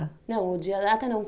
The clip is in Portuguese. Não, o dia, a data não.